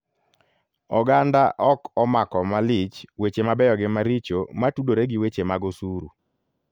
Oganda ok omako malich weche mabeyo gi maricho matudore gi weche mag osuru.